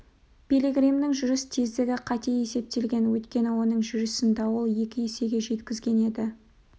пилигримнің жүріс тездігі қате есептелген өйткені оның жүрісін дауыл екі есеге жеткізген еді